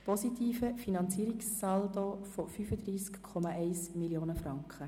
positiver Finanzierungssaldo von 35,1 Mio. Franken;